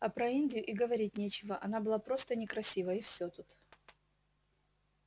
а про индию и говорить нечего она была просто некрасива и всё тут